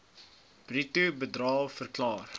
bruto bedrae verklaar